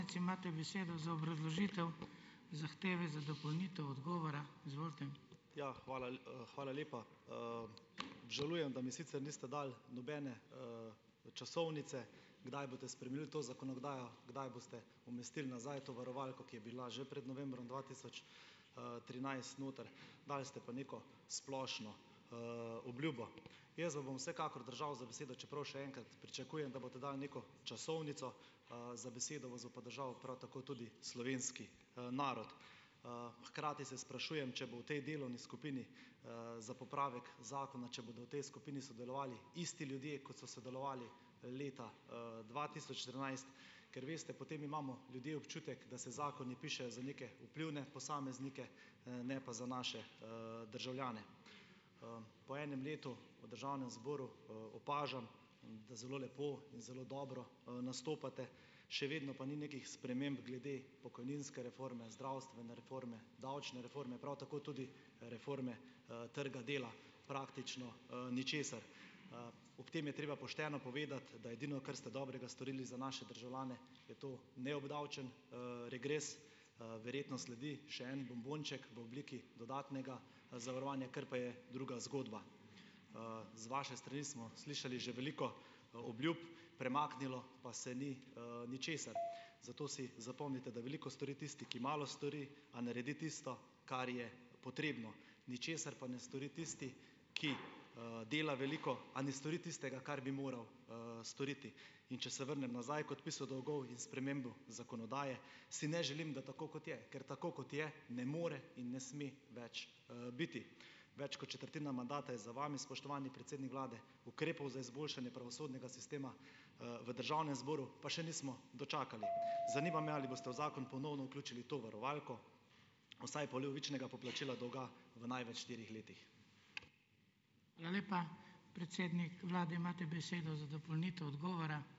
Ja, hvala hvala lepa, Obžalujem, da mi sicer niste dali nobene, časovnice, kdaj boste spremenili to zakonodajo, kdaj boste umestili nazaj to varovalko, ki je bila že pred novembrom dva tisoč, trinajst noter, dali ste pa neko splošno, obljubo. Jaz vam bom vsekakor držal za besedo, čeprav še enkrat, pričakujem, da boste dali neko časovnico, za besedo vas bo pa držal prav tako tudi slovenski, narod. Hkrati se sprašujem, če bo v tej delovni skupini, za popravek zakona, če bodo v tej skupini sodelovali isti ljudje, kot so sodelovali leta, dva tisoč trinajst, ker veste, potem imamo ljudje občutek, da se zakoni pišejo za neke vplivne posameznike, ne pa za naše, državljane. Po enem letu v državnem zboru, opažam, da zelo lepo in zelo dobro, nastopate. Še vedno pa ni nekih sprememb glede pokojninske reforme, zdravstvene reforme, davčne reforme, prav tako tudi reforme, trga dela, praktično, ničesar. Ob tem je treba pošteno povedati, da edino, kar ste dobrega storili za naše državljane, je to neobdavčen, regres. Verjetno sledi še en bombonček v obliki dodatnega zavarovanja, kar pa je druga zgodba. z vaše strani smo slišali že veliko obljub, premaknilo pa se ni, ničesar, zato si zapomnite, da veliko stori tisti, ki malo stori, a naredi tisto, kar je potrebno. Ničesar pa ne stori tisti, ki, dela veliko, a ne stori tistega, kar bi moral, storiti. In če se vrnem nazaj, k odpisu dolgov in spremembi zakonodaje, si ne želim, da tako, kot je, ker tako, kot je, ne more in ne sme več, biti. Več kot četrtina mandata je za vami, spoštovani predsednik vlade, ukrepov za izboljšanje pravosodnega sistema, v državnem zboru pa še nismo dočakali. Zanima me, ali boste v zakon ponovno vključili to varovalko, vsaj polovičnega poplačila dolga, v največ štirih letih.